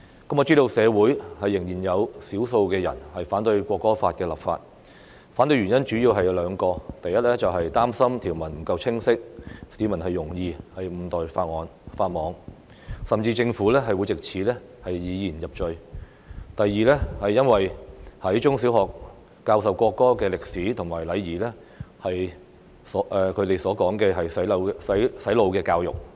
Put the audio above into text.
我知道社會上仍有少數人反對《國歌法》立法，反對原因主要有兩個：第一，擔心條文不夠清晰，市民容易誤墮法網，甚至政府會藉此以言入罪；第二，在中學和小學教授國歌的歷史和禮儀被他們說成是"洗腦教育"。